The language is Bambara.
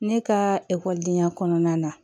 Ne ka ekɔlidenya kɔnɔna na